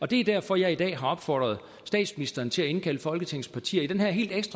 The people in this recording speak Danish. det er derfor jeg i dag har opfordret statsministeren til at indkalde folketingets partier i den her helt